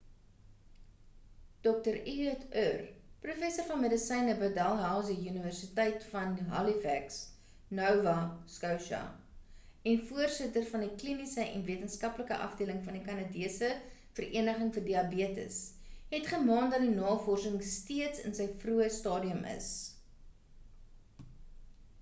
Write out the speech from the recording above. dr ehud ur professor van medisyne by dalhousie universiteit in halifax nova scotia en voorsitter van die kliniese en wetenskaplike afdeling van die kanadese vereniging vir diabetes het gemaan dat die navorsing steeds in sy vroeë stadium is